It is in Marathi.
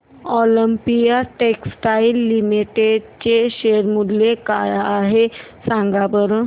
ऑलिम्पिया टेक्सटाइल्स लिमिटेड चे शेअर मूल्य काय आहे सांगा बरं